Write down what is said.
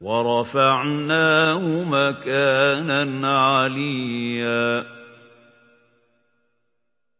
وَرَفَعْنَاهُ مَكَانًا عَلِيًّا